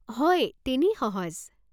হয়, তেনেই সহজ।